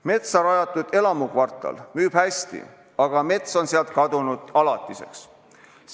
Metsa rajatud elamukvartal müüb hästi, aga mets on sealt kadunud alatiseks.